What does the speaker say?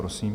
Prosím.